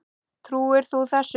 Trúir þú þessu?